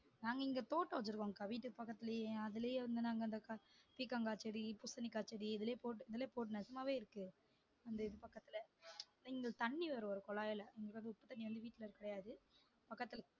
நாங்க இங்க தோட்டம் வச்சிருக்கோம் அக்கா வீட்டு பக்கத்துலையே அதுலயே வந்து நாங்க பீர்க்கங்கா செடி, பூசணிக்காய் செடி இதுலே போட்டு இதுலே போட்டு நிஜமாவே இருக்கு அந்த இது பக்கத்துல இங்க தண்ணி வரும் குழாய்ல உப்பு தண்ணி வந்து வீட்டுல இருக்காது பக்கத்துல